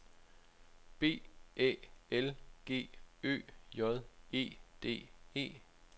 B Æ L G Ø J E D E